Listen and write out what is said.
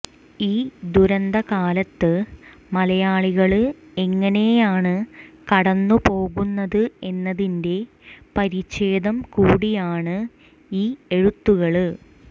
ഈ ദുരന്തകാലത്ത് മലയാളികള് എങ്ങനെയാണ് കടന്നു പോകുന്നത് എന്നതിന്റെ പരിച്ഛേദം കൂടിയാണ് ഈ എഴുത്തുകള്